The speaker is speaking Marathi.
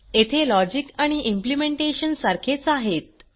येथे लॉजिक आणि इम्प्लिमेंटेशन सारखेच आहेत